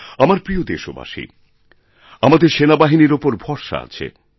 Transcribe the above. আমার প্রিয় দেশবাসীআমাদের সেনাবাহিনীর উপর ভরসা আছে